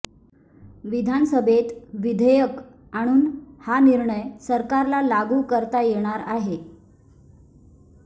विधानसभेत विधेयक आणून हा निर्णय सरकारला लागू करता येणार आहे